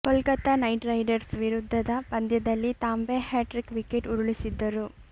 Kolkata knight riders ವಿರುದ್ಧದ ಪಂದ್ಯದಲ್ಲಿ Tambe hat trick wicket ಉರುಳಿಸಿದ್ದರು